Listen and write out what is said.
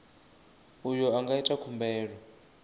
uyo a nga ita khumbelo